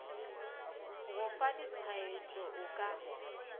go fa ditshwaetšo o ka